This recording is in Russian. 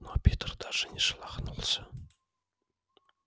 но питер даже не шелохнулся